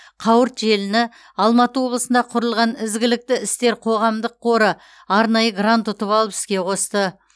қауырт желіні алматы облысында құрылған ізгілікті істер қоғамдық қоры арнайы грант ұтып алып іске қосты